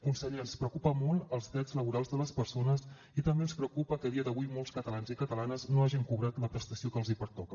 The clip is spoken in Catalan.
conseller ens preocupen molt els drets laborals de les persones i també ens preocupa que a dia d’avui molts catalans i catalanes no hagin cobrat la prestació que els pertoca